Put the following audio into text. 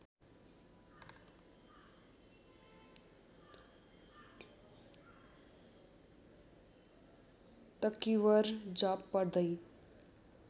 तक्विर जप पढ्दै